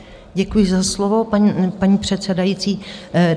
Děkuji za slovo, paní předsedající.